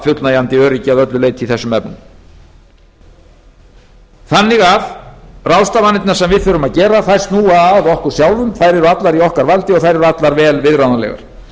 fullnægjandi öryggi að öllu leyti í þessum efnum ráðstafanirnar sem við þurfum því að gera snúa að okkur sjálfum þær eru allar í okkar valdi og þær eru allar vel viðráðanlegar